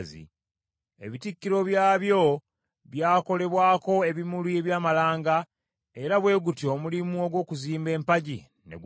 Ebitikkiro byabyo byakolebwako ebimuli eby’amalanga, era bwe gutyo omulimu ogw’okuzimba empagi ne guggwa.